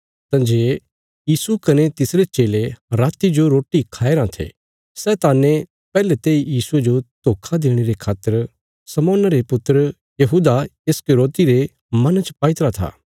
तंजे यीशु कने तिसरे चेले राति जो रोटी खाया राँ थे शैताने पैहले तेई यीशुये जो धोखा देणे रे खातर शमौना रे पुत्र यहूदा इस्करियोति रे मना च पाईतरा था